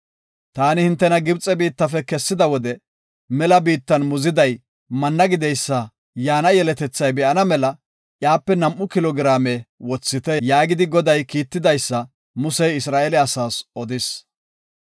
“Taani hintena Gibxe biittafe kessida wode mela biittan muziday manna gideysa yaana yeletethay be7ana mela iyape nam7u kilo giraame wothite” yaagidi Goday kiitidaysa Musey Isra7eele asaas odis.